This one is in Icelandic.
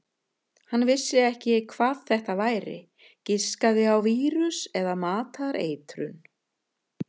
Hann vissi ekki hvað þetta væri, giskaði á vírus eða matareitrun.